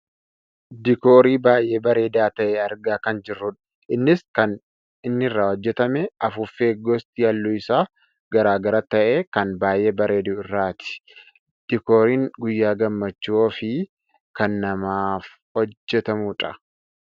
Diikoorii baayyee bareedaa ta'e argaa kan jirrudha. Innis kan inni irraa hojjatame afuuffee gosti halluu isaa gara gara ta'e kan baayyee bareedu irraati. Diikooriin guyyaa gammachuu ofii kan namaaf hojjatamudha.